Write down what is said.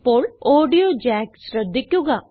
ഇപ്പോൾ audio jacks ശ്രദ്ധിക്കുക